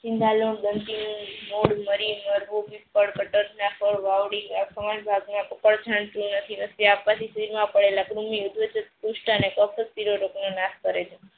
આપવાથી ફ્રીજ માં પડેલા પુસ્થ કૃમ્ય નાશ કરે છે.